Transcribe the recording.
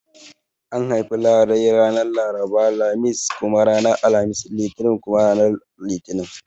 An haifi larai ranar Laraba, Lamis kuma ranar Alhamis, Litini kuma ranar Litinin